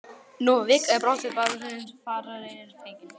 Nú var vika í brottför barónsins og farareyrir fenginn.